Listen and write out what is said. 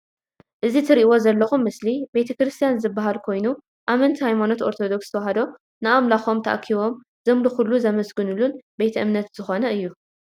እዚ ትርኢዎ ዘለኩም ምስሊ ቤተ ክርስትያን ዝባሃል ኮይኑ አመንቲ ሃይማኖት ኦርቶዶክስ ተዋህዶ ንኣምላኮም ታኣኪቦም ዘምልኩሉን ዘመስግንሉን ቤተ እምነት ዝኮነ እዩ።